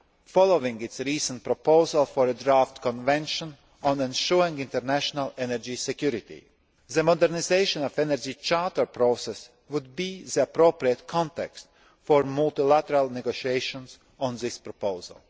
following its recent proposal for a draft convention on ensuring international energy security. The modernisation of the Energy Charter process would be the appropriate context for multilateral negotiations on this proposal.